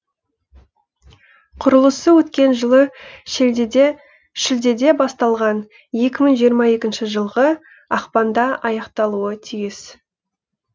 құрылысы өткен жылы шілдеде басталған екі мың жиырма екінші жылғы ақпанда аяқталуы тиіс